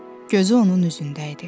Gözü onun üzündə idi.